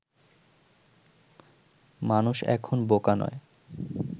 মানুষ এখন বোকা নয়